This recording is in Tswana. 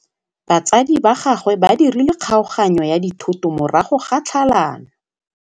Batsadi ba gagwe ba dirile kgaoganyô ya dithoto morago ga tlhalanô.